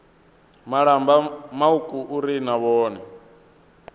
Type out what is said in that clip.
malamba mauku uri na vhone